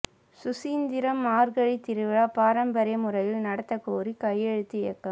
சுசீந்திரம் மாா்கழி திருவிழா பாரம்பரிய முறையில் நடத்தக் கோரி கையெழுத்து இயக்கம்